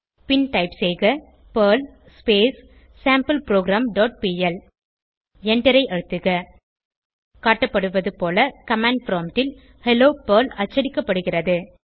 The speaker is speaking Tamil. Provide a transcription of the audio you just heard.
பின் டைப் செய்க பெர்ல் sampleprogramபிஎல் எண்டரை அழுத்துக காட்டப்படுவது போல கமாண்ட் ப்ராம்ப்ட் ல் ஹெல்லோ பெர்ல் அச்சடிக்கப்படுகிறது